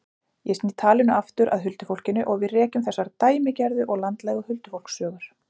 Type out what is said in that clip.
Ég sný talinu aftur að huldufólkinu og við rekjum þessar dæmigerðu og landlægu huldufólkssögur.